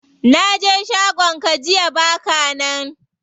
Naje shagon ka jiya baka nan.